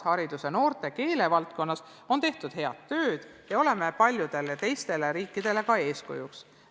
Haridus-, noorte- ja keelevaldkonnas on tehtud head tööd ja me oleme paljudele teistele riikidele eeskujuks.